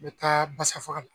N bɛ taa basa faga la.